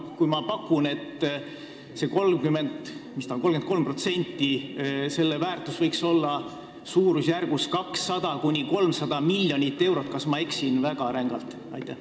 Kui ma pakun, et selle 33% väärtus võiks olla suurusjärgus 200–300 miljonit eurot, siis kas ma eksin väga rängalt?